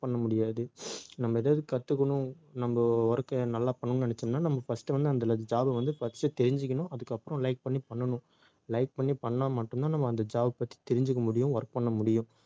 பண்ண முடியாது. நம்ம ஏதாவது கத்துக்கணும், நம்ம work அ நல்லா பண்ணணும்னு நினைச்சோம்னா நம்ம first வந்து அந்த job அ வந்து first தெரிஞ்சுக்கணும் அதுக்கப்புறம் like பண்ணி பண்ணணும் like பண்ணி பண்ணா மட்டும்தான் நம்ம அந்த job பத்தி தெரிஞ்சுக்க முடியும் work பண்ண முடியும்